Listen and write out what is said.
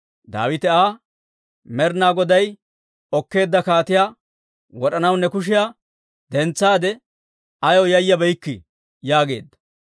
Daawite Aa, «Med'inaa Goday okkeedda kaatiyaa wod'anaw ne kushiyaa dentsaadde, ayaw yayabeykkii?» yaageedda.